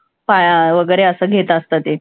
वैगरे असं घेत असतं ते.